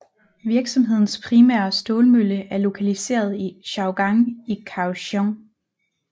Virksomhedens primære stålmølle er lokaliseret i Siaogang i Kaohsiung